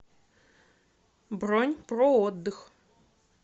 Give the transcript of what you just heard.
бронь проотдых